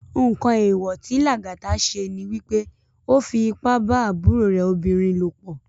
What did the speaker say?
Nkán éwò ti Lagata sé ni wipé ó fi ipá bá àbúró rè óbirin lópò